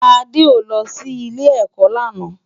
Ade ó lò si Ilé-èkò làná